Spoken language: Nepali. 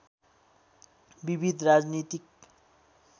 विविध राजनीतिक